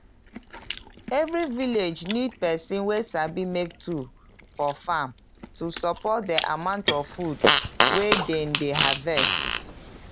every village need person wey sabi make tool for farm to support the amount of food wey dem dey harvest.